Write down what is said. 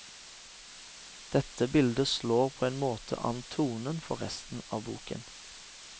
Dette bildet slår på en måte an tonen for resten av boken.